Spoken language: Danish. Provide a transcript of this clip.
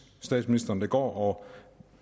statsministeren så det går og